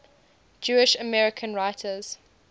jewish american writers